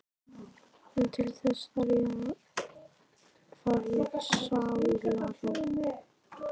En til þess þarf ég sálarró!